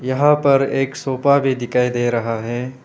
यहां पर एक सोफा भी दिखाई दे रहा है।